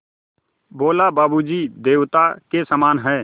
बोला बाबू जी देवता के समान हैं